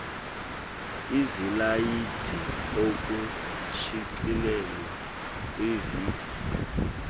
izilayidi okushicilelwe kwividiyo